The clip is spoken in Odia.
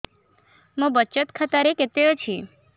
ମୋ ବଚତ ଖାତା ରେ କେତେ ଅଛି